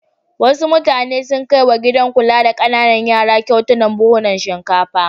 Wasu mutane sun kai wa gidan kula da ƙananan yara kyautar buhhunan shinkafa.